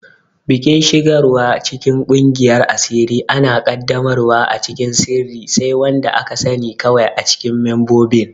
Bikin shigarwa cikin kungiyar asiri ana qaddamarwa a cikin sirri, sai wanda aka sani kawai acikin membobin.